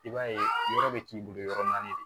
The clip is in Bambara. I b'a ye yɔrɔ bɛ k'i bolo yɔrɔ naani de